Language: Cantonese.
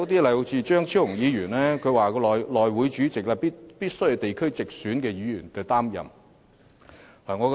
例如，張超雄議員建議內務委員會主席須由地區直選議員擔任。